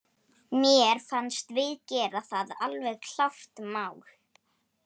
Mér fannst við gera það, alveg klárt mál.